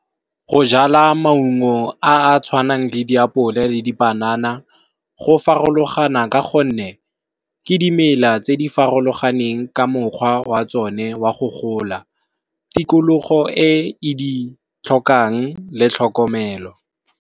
Go jala maungo a a tshwanang le di apole le dipanana, go farologana ka gonne ke dimela tse di farologaneng ka mokgwa wa tsone wa go gola tikologo e e ditlhokang le tlhokomelo.